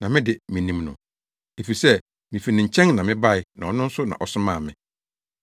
na me de, minim no, efisɛ mifi ne nkyɛn na mebae na ɔno na ɔsomaa me.”